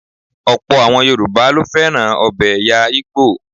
Ọ̀pọ̀ àwọn Yoruba ló fẹ́ràn ọbẹ̀ ẹ̀yà Igbo.